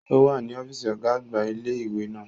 O wa ni ọfiisi ọga-agba ile-iwe naa.